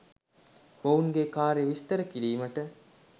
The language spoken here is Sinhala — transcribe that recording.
මොවුන්ගේ කාර්යය විස්තර කිරීමට